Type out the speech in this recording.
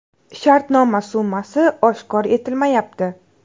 Shartnoma summasi oshkor etilmayapti.